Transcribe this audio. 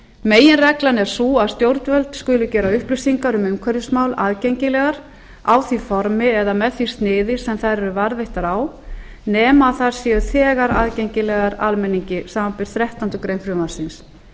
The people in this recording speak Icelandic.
meginreglan er sú að stjórnvöld skulu gera upplýsingar um umhverfismál aðgengilegar í því formi eða með því sniði sem þær eru varðveittar á nema þær séu þegar aðgengilegar almenningi samanber þrettándu greinar frumvarpsins